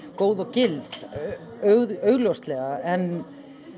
góð og gild augljóslega en